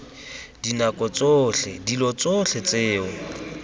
dinako tsotlhe dilo tsotlhe tseo